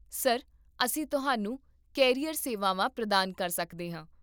sir, ਅਸੀਂ ਤੁਹਾਨੂੰ career ਸੇਵਾਵਾਂ ਪ੍ਰਦਾਨ ਕਰ ਸਕਦੇ ਹਾਂ